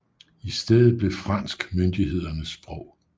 I stedet blev fransk myndighedernes sprog